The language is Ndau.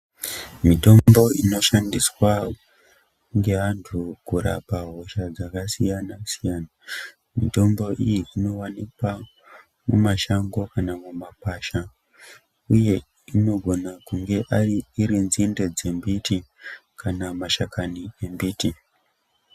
Mitombo inoshandiswa ngeandu kurapa hosha dzakasiyana siyana mitombo iyi inowanikwa mumashango kana mumakwasha uye inogona kunge irinzinde dzembiti kana mashakani embiti.